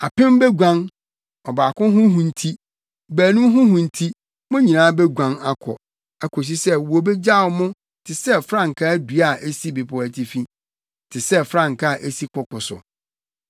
Apem beguan ɔbaako ho hu nti; baanum ho hu nti mo nyinaa beguan akɔ, akosi sɛ wobegyaw mo te sɛ frankaa dua a esi bepɔw atifi, te sɛ frankaa a esi koko so.”